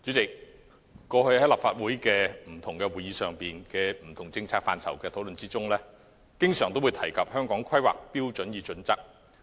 代理主席，過去立法會會議上就不同政策範疇的討論中，經常提及《香港規劃標準與準則》。